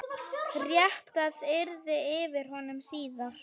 Réttað yrði yfir honum síðar.